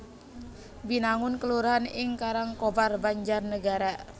Binangun kelurahan ing Karangkobar Banjarnegara